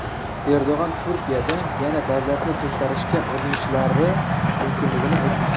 Erdo‘g‘on Turkiyada yana davlatni to‘ntarishga urinishlari mumkinligini aytdi.